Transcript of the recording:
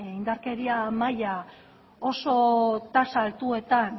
indarkeria maila oso tasa altuetan